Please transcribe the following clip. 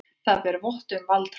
Það ber vott um valdhroka.